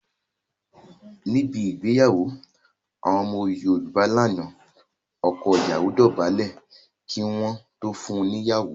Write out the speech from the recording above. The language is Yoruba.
Níbẹ̀ igbeyawo àwọn ọmọ Yorùbá lánà, ọkọ ìyawo dóbálẹ̀ kí wọn tó fún un ní ìyawo